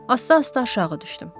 Asta-asta aşağı düşdüm.